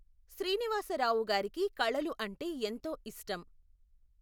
శ్రీనివాసరావు గారికి కళలు అంటే ఎంతో ఇష్టం.